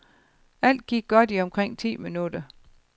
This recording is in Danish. Alt gik godt i omkring ti minutter.